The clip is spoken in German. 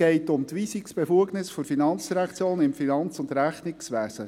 Es geht um die Weisungsbefugnis der FIN im Finanz- und Rechnungswesen.